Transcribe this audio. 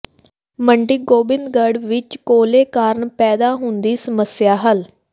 ਮੰਡੀ ਗੋਬਿੰਦਗਡ਼੍ਹ ਵਿੱਚ ਕੋਲੇ ਕਾਰਨ ਪੈਦਾ ਹੁੰਦੀ ਸਮੱਸਿਆ ਹੱਲ